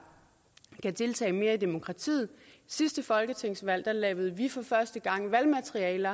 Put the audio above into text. kan deltage mere i demokratiet ved sidste folketingsvalg lavede vi for første gang valgmateriale